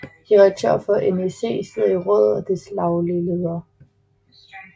Direktøren for NEC sidder i rådet og er dets daglige leder